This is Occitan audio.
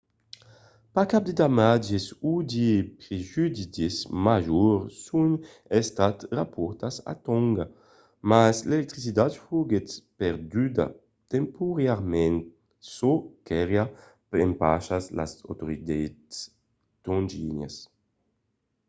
pas cap de damatges o de prejudicis majors son estats raportats a tònga mas l'electricitat foguèt perduda temporàriament çò qu'auriá empachat las autoritats tongianas